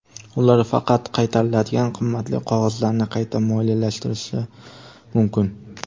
Ular faqat qaytariladigan qimmatli qog‘ozlarni qayta moliyalashtirishi mumkin.